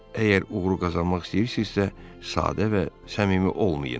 Əgər uğuru qazanmaq istəyirsinizsə, sadə və səmimi olmayın.